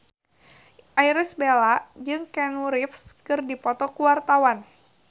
Irish Bella jeung Keanu Reeves keur dipoto ku wartawan